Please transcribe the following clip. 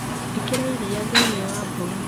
Ikira iria thĩinĩ wa mboga